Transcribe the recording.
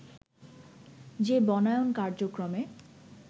যে বনায়ন কার্যক্রমে